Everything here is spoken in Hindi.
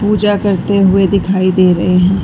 पूजा करते हुए दिखाई दे रहे हैं।